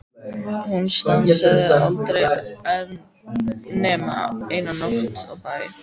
Hún stansaði aldrei nema eina nótt á bæ.